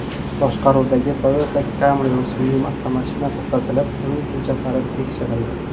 boshqaruvidagi Toyota Camry rusumli avtomashina to‘xtatilib, uning hujjatlari tekshirildi.